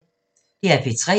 DR P3